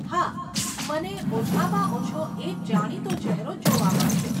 હા, મને ઓછામાં ઓછો એક જાણીતો ચેહરો જોવા મળશે.